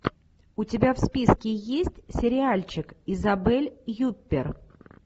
у тебя в списке есть сериальчик изабель юппер